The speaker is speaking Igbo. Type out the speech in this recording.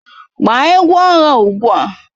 Gbaa egwu agha ugbu a!